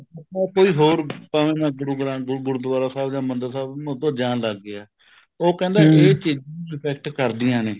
ਕੋਈ ਹੋਰ ਭਾਵੇਂ ਮੈਂ ਗੁਰੂ ਗ੍ਰੰਥ ਗੁਰੂਦੁਆਰਾ ਸਾਹਿਬ ਜਾਂ ਹਰਮਹਿੰਦਰ ਸਾਹਿਬ ਮੈਂ ਉੱਧਰ ਜਾਣ ਲੱਗ ਗਿਆ ਉਹ ਕਹਿੰਦਾ ਇਹ ਚੀਜ਼ਾਂ effect ਕਰਦੀਆ ਨੇ